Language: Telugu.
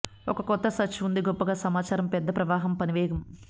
ఒక కొత్త సర్చ్ ఉంది గొప్పగా సమాచారం పెద్ద ప్రవాహం పని వేగం